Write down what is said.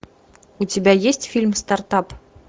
у тебя есть фильм стартап